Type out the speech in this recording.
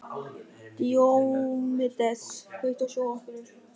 Díómedes, kveiktu á sjónvarpinu.